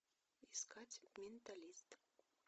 искать менталист